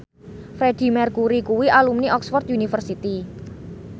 Freedie Mercury kuwi alumni Oxford university